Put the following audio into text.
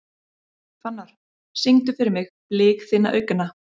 Fannar, syngdu fyrir mig „Blik þinna augna“.